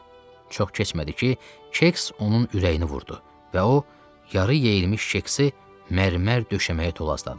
Çox keçmədi ki, kek onun ürəyini vurdu və o yar-ı yeyilmiş keksi mərmər döşəməyə tolazladı.